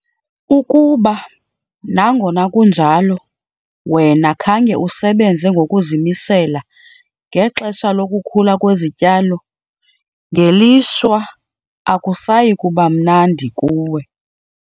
Ukuba, nangona kunjalo wena khange usebenze ngokuzimisela ngexesha lokukhula kwezityalo, ngelishwa akusayi kuba mnandi kuwe.